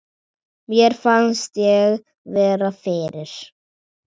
Mér fannst ég vera fyrir.